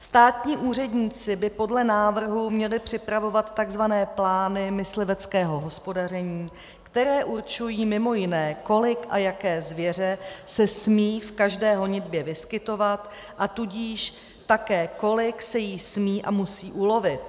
Státní úředníci by podle návrhu měli připravovat tzv. plány mysliveckého hospodaření, které určují mimo jiné, kolik a jaké zvěře se smí v každé honitbě vyskytovat, a tudíž také, kolik se jí smí a musí ulovit.